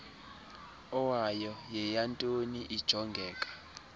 owayo yeyantoni ijongeka